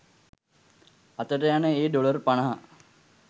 අතට යන ඒ ඩොලර් පනහ